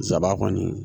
Sabaa kɔni